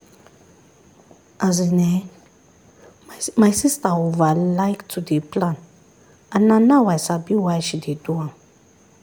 as in[um]my sister over like to dey plan and na now i sabi why she dey do am